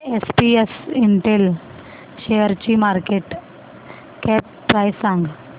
SPS Intel शेअरची market cap price सांगा